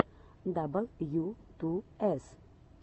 дабл ю ту эс